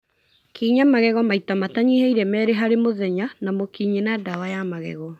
Kinya magego maita matanyihĩire merĩ harĩ mũthenya na mũkinyĩ na ndawa ya magego.